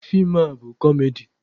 Feem a bụ kọmedi.